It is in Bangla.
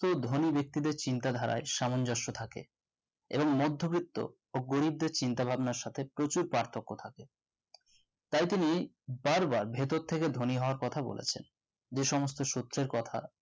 ধনী বেক্তিদের চিন্তাধারায় সামঞ্জস্য থাকে এবং মদ্যবিত্ত ও গরিবদের চিন্তা ভাবনার সাথে প্রচুর পার্থ্যক্য থাকে তাই তিনি বার বার ভিতর থেকে ধনী হবার কথা বলেছেন যে সমস্ত সত্যের কথা